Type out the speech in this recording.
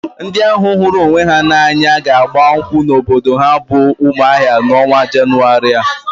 Ndị ahụ hụrụ onwe ha n'anya ga-agba nkwụ n'obodo ha bụ Umuahia n'ọnwa Jenụwarị a.